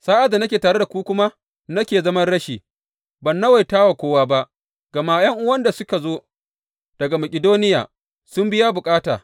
Sa’ad da nake tare da ku kuma nake zaman rashi, ban nawaita wa kowa ba, gama ’yan’uwan da suka zo daga Makidoniya sun biya bukata.